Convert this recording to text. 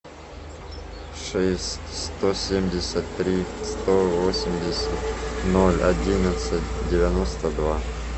шесть сто семьдесят три сто восемьдесят ноль одиннадцать девяносто два